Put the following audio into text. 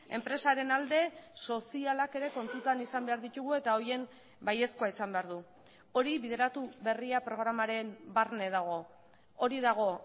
enpresaren alde sozialak ere kontutan izan behar ditugu eta horien baiezkoa izan behar du hori bideratu berria programaren barne dago hori dago